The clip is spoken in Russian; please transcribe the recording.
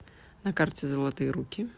на карте золотые руки